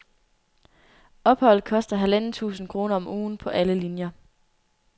Opholdet koster halvanden tusind kroner om ugen på alle linier.